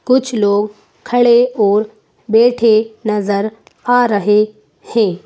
कुछ लोग खड़े और बैठे नजर आ रहे हैं।